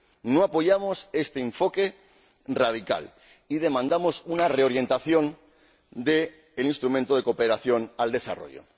No apoyamos este enfoque radical y demandamos una reorientación del Instrumento de Cooperación al Desarrollo.